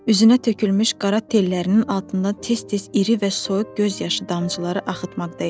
Üzünə tökülmüş qara tellərinin altından tez-tez iri və soyuq göz yaşı damcıları axıtmaqda idi.